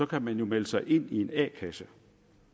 kan man jo melde sig ind i en a kasse